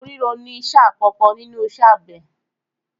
Oko ríro ni ẹsẹ̀ àkọ́kọ́ nínú iṣẹ́ àgbẹ̀